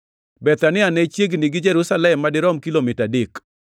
Bethania ne chiegni gi Jerusalem madirom kar kilomita adek,